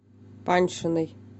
паньшиной